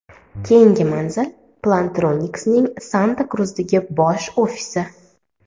Keyingi manzil: Plantronics’ning Santa-Kruzdagi bosh ofisi.